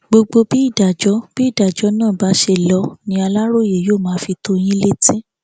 gbogbo bí ìdájọ bí ìdájọ náà bá ṣe lọ ni aláròye yóò máa fi tó yín létí